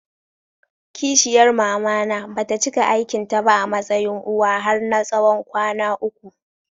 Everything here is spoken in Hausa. Ƙishiyar mamana bata cika aikin ta ba a matsayin uwa har na tsawon kwana uku.